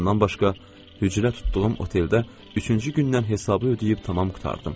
Bundan başqa hücrə tutduğum oteldə üçüncü gündən hesabı ödəyib tamam qurtardım.